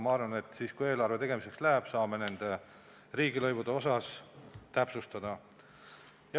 Arvan, et kui eelarve tegemiseks läheb, saame ka nende riigilõivude prognoosi täpsustada.